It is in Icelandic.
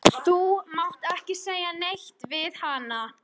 Malla, hvað er mikið eftir af niðurteljaranum?